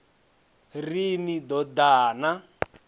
ri ni ḓo ḓa na